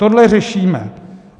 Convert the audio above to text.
Tohle řešíme.